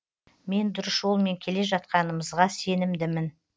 мен дұрыс жолмен келе жатқанымызға сенімдімін